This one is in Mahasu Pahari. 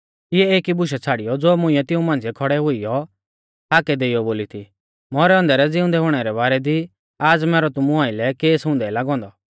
इऐं एकी बुशा छ़ाड़ियौ ज़ो मुंइऐ तिऊं मांझ़िऐ खौड़ै हुइयौ हाकै देइयौ बोलौ थी मौरै औन्दै रै ज़िउंदै हुणै रै बारै दी आज़ मैरौ तुमु आइलै केस हुंदै लागौ औन्दौ